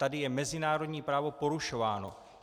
Tady je mezinárodní právo porušováno.